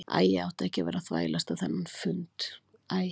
Æ, ég átti ekki að vera að þvælast á þennan fund æ.